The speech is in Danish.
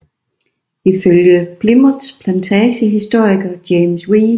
Ifølge Plimoth Plantage historiker James W